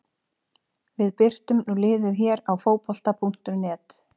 Við birtum nú liðið hér á Fótbolta.net.